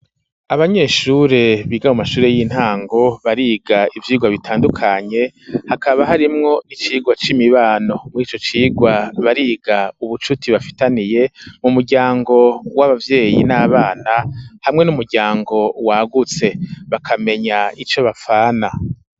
Abanyeshure biga mu mashure y'intango, bariga ivyigwa bitandukanye, hakaba harimwo icigwa c'imibano. Muri ico cigwa, bariga ubucuti bafitaniye mu muryango w'abavyeyi n'abana hamwe n'umuryango wagutse, bakamenya ico bapfana.